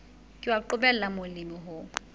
ke wa qobella molemi ho